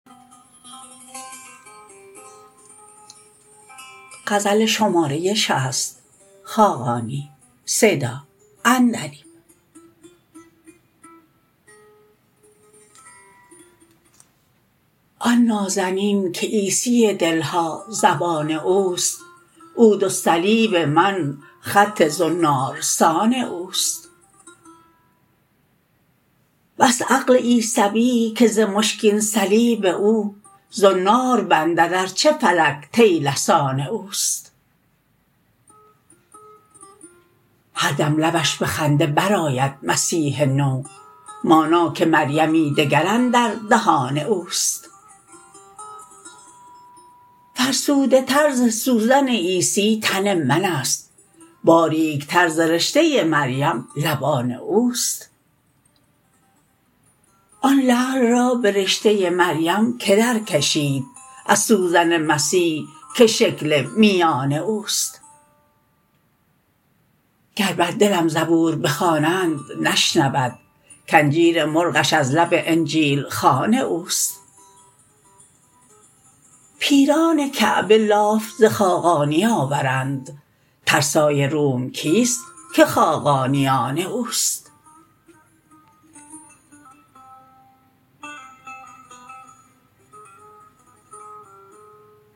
آن نازنین که عیسی دل ها زبان اوست عودالصلب من خط زنارسان اوست بس عقل عیسوی که ز مشکین صلیب او زنار بندد ارچه فلک طیلسان اوست هر دم لبش به خنده برآید مسیح نو مانا که مریمی دگر اندر دهان اوست فرسوده تر ز سوزن عیسی تن من است باریک تر ز رشته مریم لبان اوست آن لعل را به رشته مریم که درکشید از سوزن مسیح که شکل میان اوست گر بر دلم زبور بخوانند نشنود که انجیر مرغش از لب انجیل خوان اوست پیران کعبه لاف ز خاقانی آورند ترسای روم کیست که خاقانی آن اوست